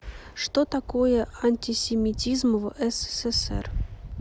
что такое антисемитизм в ссср